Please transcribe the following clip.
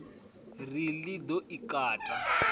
ri ḽi ḓo i kata